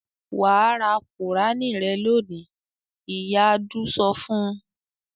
"Wà á ra Kùránì rẹ lónìí!" Ìyá Adu sọ fún un.